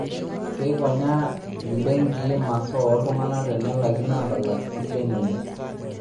Keikonyaa imbenkii masaa oo ltungana tenelaikino aatalak silen enye